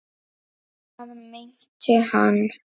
Hvað meinti hann?